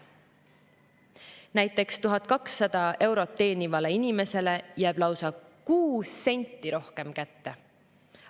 Näiteks 1200 eurot teenivale inimesele jääb lausa kuus senti rohkem kätte!